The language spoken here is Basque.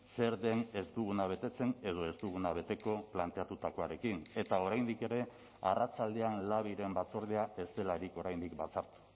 zer den ez duguna betetzen edo ez duguna beteko planteatutakoarekin eta oraindik ere arratsaldean labiren batzordea ez delarik oraindik batzartu